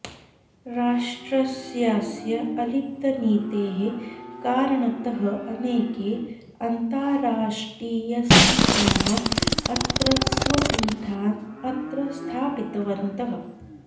राष्ट्रस्यास्य अलिप्तनीतेः कारणतः अनेके अन्ताराष्टियसंस्थाः अत्र स्वपीठान् अत्र स्थापितवन्तः